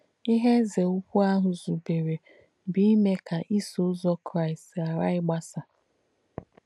Ìhe èzē ùkwù àhù zùbèrē bù ìmē kà Ìsọ̀ Ụ́zọ̀ Kráīst ghàrà ìgbàsà.